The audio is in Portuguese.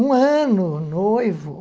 Um ano noivo.